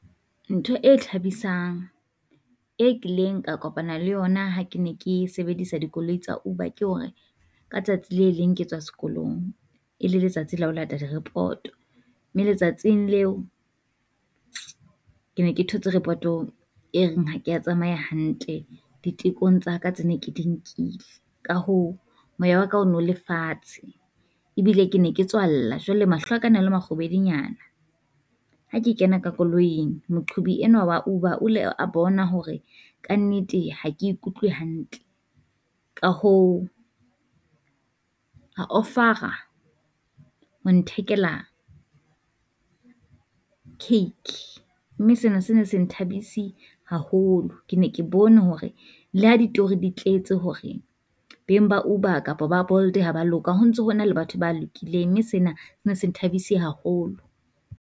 Ntho e thabisang e kileng ka kopana le yona ha ke ne ke sebedisa dikoloi tsa Uber ke hore, ka tsatsi le leng ke tswa sekolong e le letsatsi le ho lata di report-o. Mme letsatsing leo ke ne ke thotse report-o e reng ha kea tsamaya hantle ditekong tsa ka tsa ne ke di nkile, ka hoo moya wa ka o no le fatshe ebile ke ne ke tswa lla jwale mahlo a ka na le makgubedu nyana. Ha ke kena ka koloing moqhobi enwa wa Uber o le a bona hore kannete ha ke e utlwe hantle, ka hoo a offer-ra ho nthekela cake. Mme sena se ne se nthabise haholo, ke ne ke bone hore le ha ditori di tletse hore beng ba Uber kapa ba Bold ha ba loka ho ntso ho na le batho ba lokileng, mme sena sne se nthabise haholo.